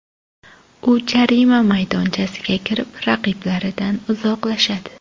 U jarima maydonchasiga kirib, raqiblaridan uzoqlashadi.